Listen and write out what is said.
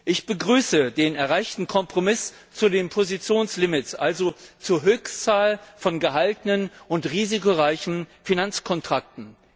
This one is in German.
Ich begrüße den erreichten Kompromiss zu den Positionslimits, also zur Höchstzahl von gehaltenen und risikoreichen Finanzkontrakten.